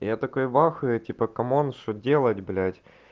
я такой в ахуе типа камон что делать блять